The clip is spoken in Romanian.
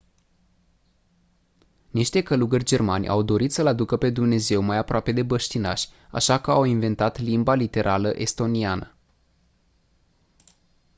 niște călugări germani au dorit să îl aducă pe dumnezeu mai aproape de băștinași așa că au inventat limba literală estoniană